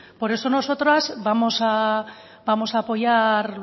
por eso nosotras vamos a apoyar